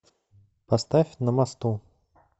поставь на мосту